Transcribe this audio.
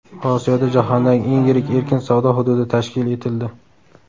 Osiyoda jahondagi eng yirik erkin savdo hududi tashkil etildi.